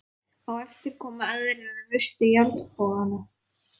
Á eftir komu aðrir og reistu járnbogana.